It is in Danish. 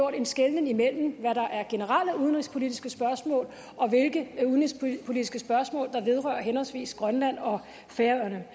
en skelnen imellem hvad der er generelle udenrigspolitiske spørgsmål og hvilke udenrigspolitiske spørgsmål der vedrører henholdsvis grønland og færøerne